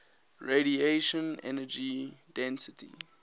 radiation energy density